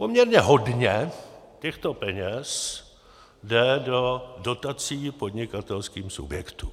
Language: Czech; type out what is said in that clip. Poměrně hodně těchto peněz jde do dotací podnikatelským subjektům.